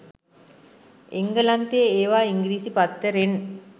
එංගලන්තේ එවා ඉංගිරිසිපත්තරෙත්